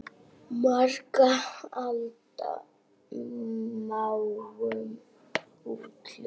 Margra alda máum út hljóm?